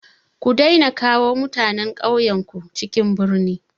Ku daina kawo mutanen ƙauyenku cikin birni!